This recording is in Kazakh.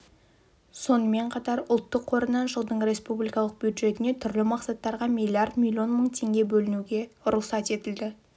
сонымен қатар ұлттық қорынан жылдың республикалық бюджетіне түрлі мақсаттарға миллиард миллион мың теңге бөлуге рұқсат етілді